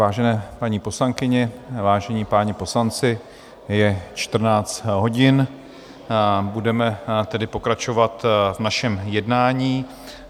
Vážené paní poslankyně, vážení páni poslanci, je 14 hodin, budeme tedy pokračovat v našem jednání.